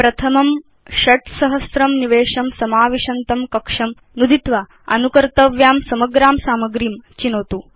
प्रथमं 6000 निवेशं समाविशन्तं कक्षं नुदित्वा अनुकर्तव्यां समग्रां सामग्रीं चिनोतु